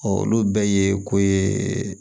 olu bɛɛ ye ko ye